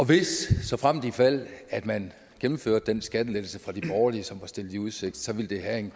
hvis såfremt ifald man gennemfører den skattelettelse fra de borgerlige som var stillet i udsigt så ville have en